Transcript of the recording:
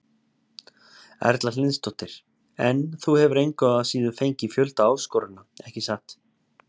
Erla Hlynsdóttir: En þú hefur engu að síður fengið fjölda áskorana, ekki satt?